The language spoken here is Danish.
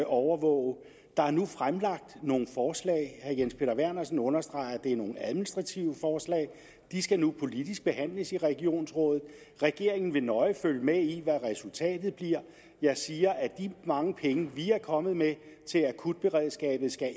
overvåge der er nu fremlagt nogle forslag herre jens peter vernersen understreger at det er nogle administrative forslag de skal nu politisk behandles i regionsrådet regeringen vil nøje følge med i hvad resultatet bliver jeg siger at de mange penge vi er kommet med til akutberedskabet